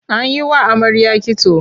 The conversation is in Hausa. An yi wa amarya kitso.